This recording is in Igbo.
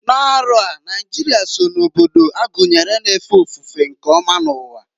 N'arọ a, Naijịrịa so na obodo agunyere na-efe ofufe nke ọma n'uwa.